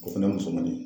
O fɛnɛ musomanin